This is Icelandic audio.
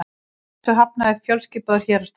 Þessu hafnaði fjölskipaður héraðsdómur